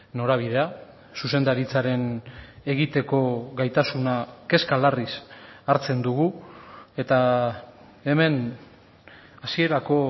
norabidea zuzendaritzaren egiteko gaitasuna kezka larriz hartzen dugu eta hemen hasierako